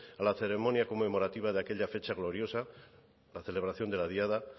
a la ceremonia conmemorativa de aquella fecha gloriosa la celebración de la diada